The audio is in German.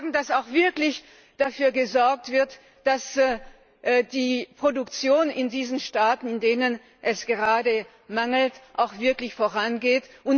dass dafür gesorgt wird, dass die Produktion in diesen Staaten, in denen es gerade hier mangelt, auch wirklich vorangeht.